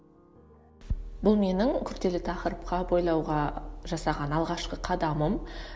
бұл менің күрделі тақырыпқа бойлауға жасаған алғашқы қадамым